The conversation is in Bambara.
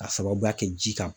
Ka sababuya kɛ ji kan